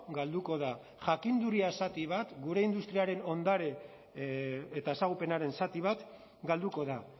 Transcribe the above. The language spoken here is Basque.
galduko da jakinduria zati bat gure industriaren ondare eta ezagupenaren zati bat galduko da